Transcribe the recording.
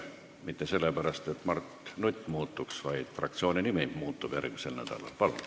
Ma ei ütle nii mitte sellepärast, nagu Mart Nutt muutuks, vaid sellepärast, et fraktsiooni nimi järgmisel nädalal muutub.